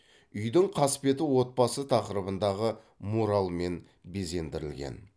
үйдің қасбеті отбасы тақырыбындағы муралмен безендірілген